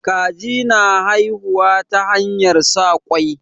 Kaji na haihuwa ta hanyar sa ƙwai.